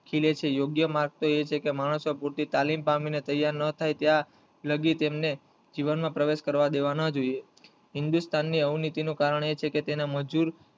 ખીલે છે યોગ્ય માર્માગ તો એ છે કે માંણસો પૂરતી તાલીમ પામી ને તૈયાર ના થાય ત્યાં લગી તેમ ને જીવન માં પ્રવેશ કરવા દેવા ના જોયે હિન્દુસ્તાન ની અવનીતિ હું કારણ એ છે કે તેના મજુર